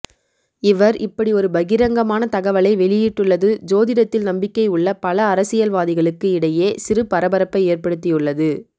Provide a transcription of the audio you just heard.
இவர் இப்படி ஒரு பகிரங்கமான தகவலை வெளியிட்டுள்ளது ஜோதிடத்தில் நம்பிக்கை உள்ள பல அரசியல்வாதிகளுக்கு இடையே சிறு பரபரப்பை ஏற்படுத்தியுள்ளது